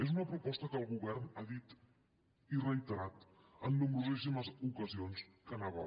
és una proposta que el govern ha dit i reiterat en nombrosíssimes ocasions que faria